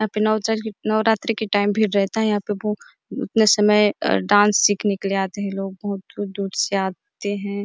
अपना चाओ ही नवरात्री के टाइम भी जाते है यहाँ पे भूक समय डांस सीखने के लिए आते है लोग बहुत दूर- दूर से आते हैं।